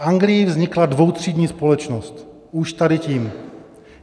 V Anglii vznikla dvoutřídní společnost už tady tím.